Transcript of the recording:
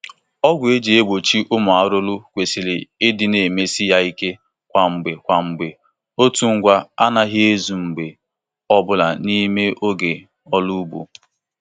Ọgwụ eji egbochị ụmụ arụrụ kwesịrị ịdị na-emesi ya ike kwa mgbe kwa mgbe; otu ngwa anaghị ezu mgbe ọ bụla n'ime oge ọrụ ugbo.